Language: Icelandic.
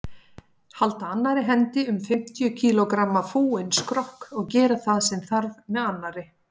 Halda annarri hendi um fimmtíu kílógramma fúinn skrokk og gera það sem þarf með annarri.